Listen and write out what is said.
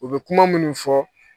U bɛ kuma minnu fɔ